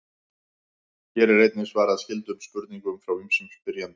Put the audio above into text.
Hér er einnig svarað skyldum spurningum frá ýmsum spyrjendum.